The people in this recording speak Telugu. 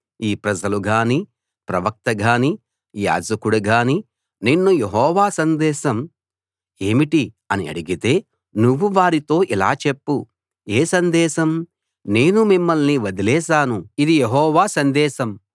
ఈ ప్రజలు గానీ ప్రవక్త గానీ యాజకుడు గానీ నిన్ను యెహోవా సందేశం ఏమిటి అని అడిగితే నువ్వు వారితో ఇలా చెప్పు ఏ సందేశం నేను మిమ్మల్ని వదిలేశాను ఇది యెహోవా సందేశం